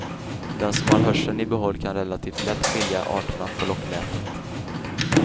Den som har hörseln i behåll kan relativt lätt skilja arterna på locklätet.